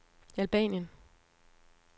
Albanien